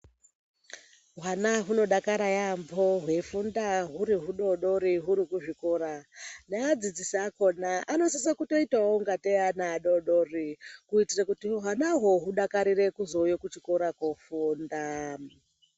Hwana hunodakara yaampho hweifunda huri hudodori huri kuzvikora. Neadzidzisi akona anosisa kutoitawo kungatei ana adodori kuitira kuti hwana hwo hudakarire kuzouya kuchikora kofunda.